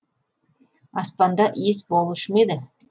аспанда иіс болушы ма еді